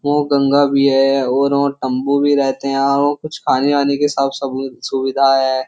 वो गंगा भी है और व तंबू भी रहते हैं और कुछ खाने वाने की सब सुविधा है।